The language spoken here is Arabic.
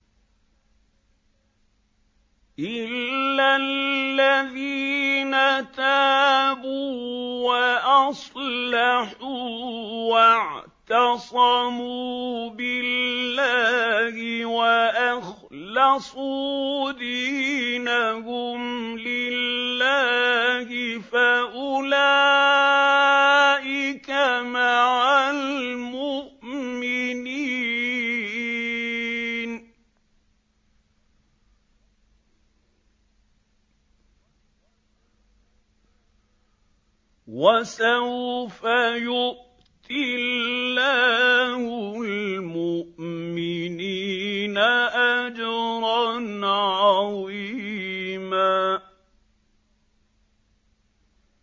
إِلَّا الَّذِينَ تَابُوا وَأَصْلَحُوا وَاعْتَصَمُوا بِاللَّهِ وَأَخْلَصُوا دِينَهُمْ لِلَّهِ فَأُولَٰئِكَ مَعَ الْمُؤْمِنِينَ ۖ وَسَوْفَ يُؤْتِ اللَّهُ الْمُؤْمِنِينَ أَجْرًا عَظِيمًا